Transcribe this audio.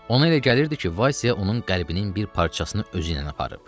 Ona elə gəlirdi ki, Vasia onun qəlbinin bir parçasını özü ilə aparıb.